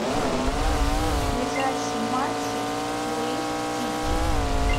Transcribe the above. ближайшие матчи луис сити